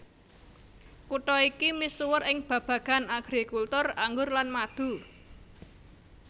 Kutha iki misuwur ing babagan agrikultur anggur lan madu